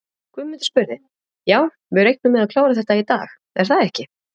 Guðmundur spurði: Já, við reiknum með að klára þetta í dag, er það ekki?